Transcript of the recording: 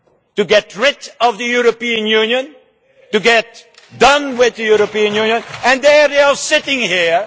to get rid of the European Union, to get done with the European Union, and they are sitting here.